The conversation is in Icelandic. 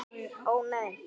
Ó nei!